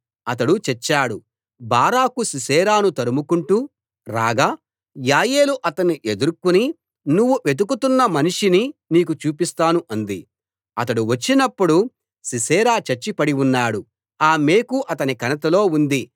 అతడు చచ్చాడు బారాకు సీసెరాను తరుముకుంటూ రాగా యాయేలు అతన్ని ఎదుర్కొని నువ్వు వెతుకుతున్న మనిషిని నీకు చూపిస్తాను అంది అతడు వచ్చినప్పుడు సీసెరా చచ్చి పడి ఉన్నాడు ఆ మేకు అతని కణతలో ఉంది